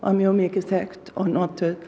mjög mikið þekkt og notuð